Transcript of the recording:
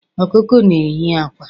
Okuko na ehi akwa